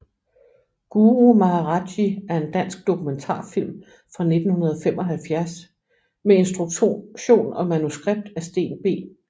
Guru Maharaj Ji er en dansk dokumentarfilm fra 1975 med instruktion og manuskript af Steen B